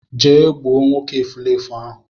Je gbuo nwoke efulefu ahu